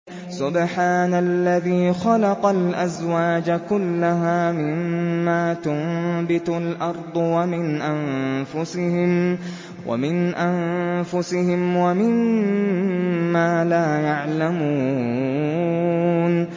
سُبْحَانَ الَّذِي خَلَقَ الْأَزْوَاجَ كُلَّهَا مِمَّا تُنبِتُ الْأَرْضُ وَمِنْ أَنفُسِهِمْ وَمِمَّا لَا يَعْلَمُونَ